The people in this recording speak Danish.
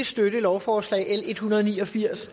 støtte lovforslag l en hundrede og ni og firs